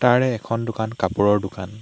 তাৰে এখন দোকান কাপোৰৰ দোকান।